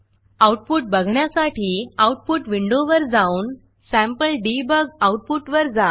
output बघण्यासाठी output विंडोवर जाऊन सॅम्पलडेबग आऊटपुटवर जा